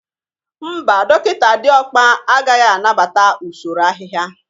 Mba, dọkịta Diokpa agaghị anabata usoro ahịhịa